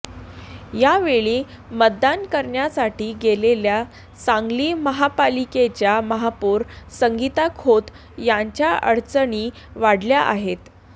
यावेळी मतदान करण्यासाठी गेलेल्या सांगली महापालिकेच्या महापौर संगीता खोत यांच्या अडचणी वाढल्या आहेत